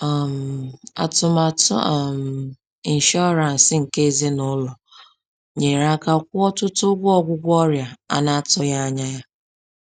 um Atụmatụ um inshọransị nke ezinụlọ nyere aka kwụọ ọtụtụ ụgwọ ọgwụgwọ ọrịa a na-atụghị anya ya.